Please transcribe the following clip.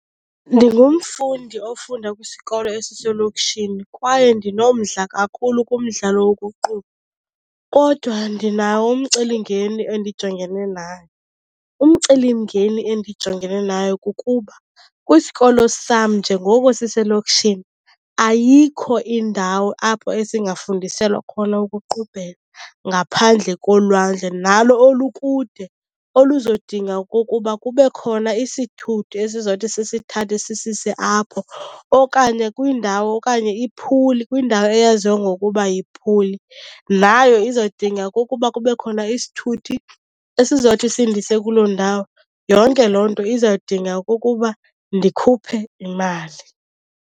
Ndingumfundi ofunda kwisikolo esiselokishini kwaye ndinomdla kakhulu kumdlalo wokuqubha kodwa ndinawo umcelimngeni endijongene nayo. Umcelimngeni endijongene nayo kukuba kwisikolo sam njengoko siselokishini ayikho indawo apho esingafundiselwa khona ukuqubhela ngaphandle kolwandle, nalo olukude, oluzodinga okokuba kube khona isithuthi esizawuthi sisithathe sisise apho okanye kwindawo okanye iphuli. Kwindawo eyaziwa ngokuba yiphuli, nayo izodinga okokuba kube khona isithuthi esizothi sindise kuloo ndawo. Yonke loo nto izawudinga okokuba ndikhuphe imali.